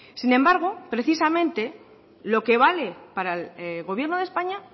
sin embargo precisamente lo que vale para el gobierno de españa